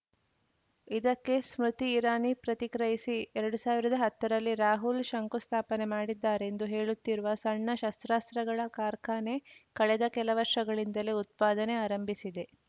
ಇದಕ್ಕೆ ಸ್ಮೃತಿ ಇರಾನಿ ಪ್ರತಿಕ್ರಿಯಿಸಿ ಎರಡು ಸಾವಿರದ ಹತ್ತರಲ್ಲಿ ರಾಹುಲ್‌ ಶಂಕುಸ್ಥಾಪನೆ ಮಾಡಿದ್ದಾರೆಂದು ಹೇಳುತ್ತಿರುವ ಸಣ್ಣ ಶಸ್ತ್ರಾಸ್ತ್ರಗಳ ಕಾರ್ಖಾನೆ ಕಳೆದ ಕೆಲ ವರ್ಷಗಳಿಂದಲೇ ಉತ್ಪಾದನೆ ಆರಂಭಿಸಿದೆ